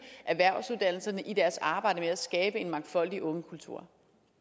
erhvervsuddannelserne i deres arbejde med at skabe en mangfoldig ungekultur